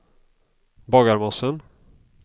Bagarmossen